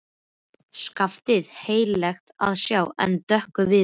Skaftið heillegt að sjá en dökkur viðurinn.